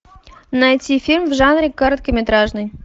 найти фильм в жанре короткометражный